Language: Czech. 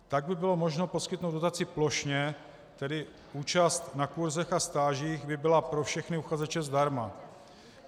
Tak by bylo možno poskytnout dotaci plošně, tedy účast na kurzech a stážích by byla pro všechny uchazeče zdarma.